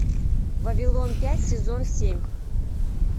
вавилон пять сезон семь